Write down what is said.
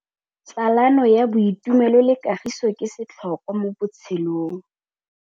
Tsalano ya boitumelo le kagiso ke setlhôkwa mo botshelong.